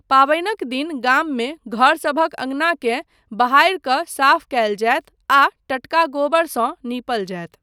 पाबनिक दिन गाममे घर सभक अंगनाकेँ बहारि कऽ साफ कयल जायत आ टटका गोबरसँ नीपल जायत।